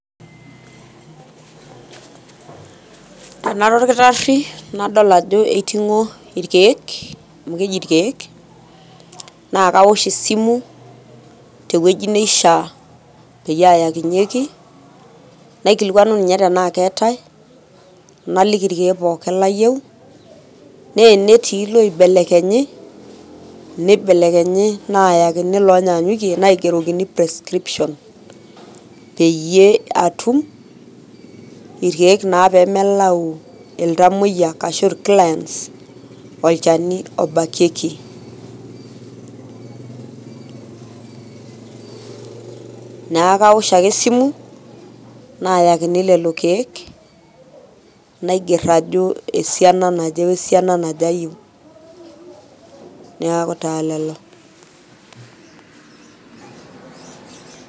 Anoto olkitarri nadol ajo eiting`o ilkiek, amu keji ilkiek naa kawosh esimu te wueji neishia peyie aayakinyieki naikilikuani ninye tenaa keetai naliki ilkiek pookin layieu. Naa tenitii loibelekenyi, nibelekenyi naayakini loonyaanyuki naigerokini prescription. Peyie atum ilkiek naa pee melau iltamuoyia ashu clients olchani obakieki. Niaku kawosh ake esimu naayakini lelo kiek naiger ajo esiana naje o siena naje ayieu niaku taa lelo.